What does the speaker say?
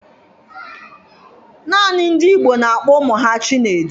Naanị ndị Igbo na-akpọ ụmụ ha Chinedu